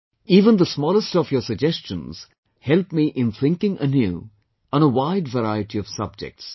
Even the smallest of your suggestions help me in thinking anew on a wide variety of subjects